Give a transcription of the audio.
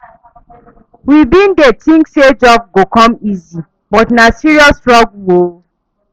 We bin dey tink sey job go come easy, but na serious struggle o.